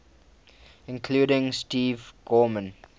including steve gorman